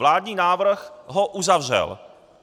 Vládní návrh ho uzavřel.